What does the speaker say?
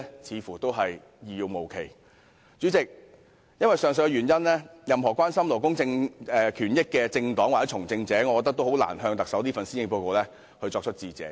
主席，由於上述原因，我認為任何關心勞工權益的政黨或從政者皆難以感謝特首發表施政報告。